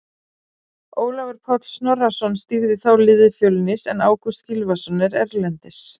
Ólafur Páll Snorrason stýrði þá liði Fjölnis en Ágúst Gylfason er erlendis.